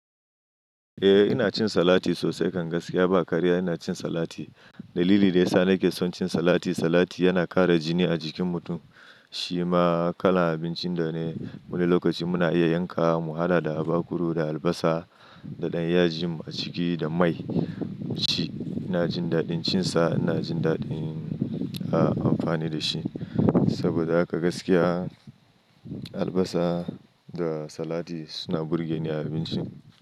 Eh ina cin salati sosai, kan gaskiya ba karya ina cin salati. Dalili da yasa nake son cin salati. Salati yana ƙara jini a jikin mutum. Shi ma kalan abincin da ne wani lokaci muna iya yanka mu hada da abakuru da albasa da ɗanyajin a ciki da mai. Shi ina jin daɗin cin sa, ina jin daɗin, a, amfani da shi. Saboda haka gaskiya albasa da salati suna burge ni a abinci.